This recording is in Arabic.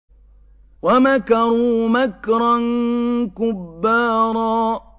وَمَكَرُوا مَكْرًا كُبَّارًا